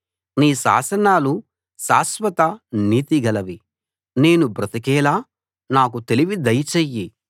నీ శాసనాలు శాశ్వత నీతిగలవి నేను బ్రతికేలా నాకు తెలివి దయచెయ్యి